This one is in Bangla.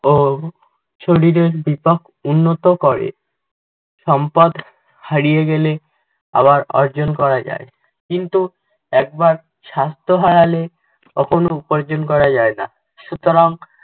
ও শরীরের বিপাক উন্নত করে। সম্পদ হারিয়ে গেলে আবার অর্জন করা যায়, কিন্তু একবার স্বাস্থ্য হারালে কখনও উপার্জন করা যায় না। সুতরাং